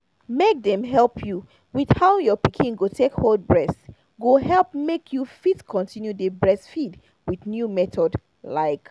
make dem help you with how your pikin go take hold breast go help make you fit continue dey breastfeed with new method like